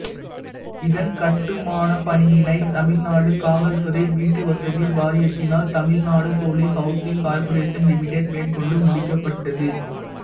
இதன் கட்டுமானப் பணியினை தமிழ்நாடு காவல்துறை வீட்டுவசதி வாரியத்தினால் Tamil Nadu police housing corporation limited மேற்கொண்டு முடிக்கப்பட்டது